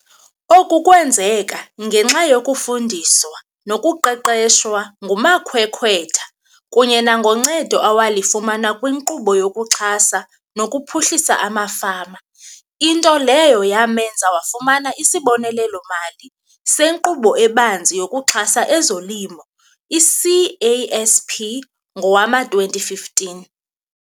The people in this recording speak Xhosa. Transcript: Oku kwenzeka ngenxa yokufundiswa nokuqeqeshwa ngumakhwekhwetha kunye nangoncedo awalifumana kwiNkqubo yokuXhasa nokuPhuhlisa amaFama, into leyo yamenza wafumana isibonelelo-mali seNkqubo eBanzi yokuXhasa ezoLimo, i-CASP, ngowama-2015.